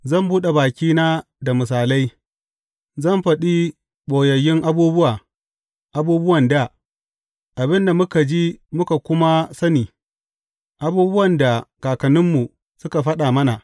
Zan buɗe bakina da misalai, zan faɗi ɓoyayyun abubuwa, abubuwan dā, abin da muka ji muka kuma sani, abubuwan da kakanninmu suka faɗa mana.